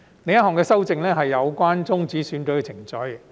另一項修正案是有關終止選舉程序。